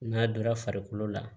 N'a donra farikolo la